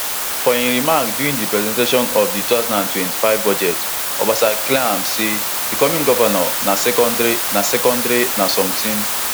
for im remark during di presentation of di two thousand and twenty-five budget obasa clear am say becoming govnor na secondary na secondary na something